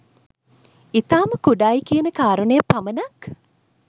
ඉතාම කුඩායි කියන කාරණය පමණක්